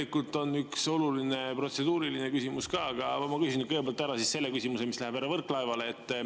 Mul on üks oluline protseduuriline küsimus, aga ma küsin kõigepealt ära selle küsimuse, mis läheb härra Võrklaevale.